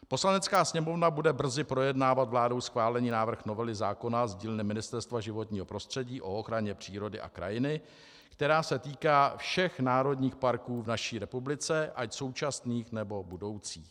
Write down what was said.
Poslanecká sněmovna bude brzy projednávat vládou schválený návrh novely zákona z dílny Ministerstva životního prostředí o ochraně přírody a krajiny, která se týká všech národních parků v naší republice, ať současných, nebo budoucích.